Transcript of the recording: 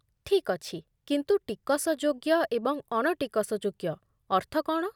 ଠିକ୍ ଅଛି, କିନ୍ତୁ 'ଟିକସଯୋଗ୍ୟ' ଏବଂ 'ଅଣଟିକସଯୋଗ୍ୟ' ଅର୍ଥ କଣ?